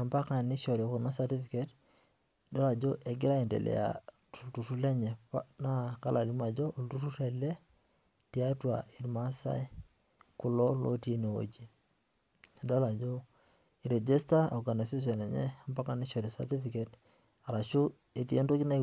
ompaka nishori kuna certificates nidol ajo egira aendelea tolturrurr lenye naa kalo alimu ajo olturrurr ele tiatwa irmaasai kulo lotii enewueji. Adolita ajo eiregista organization enye ompaka nishori certificate arashu etii entoki nai